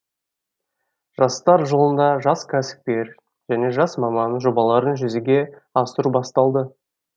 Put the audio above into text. жастар жылында жас кәсіпкер және жас маман жобаларын жүзеге асыру басталды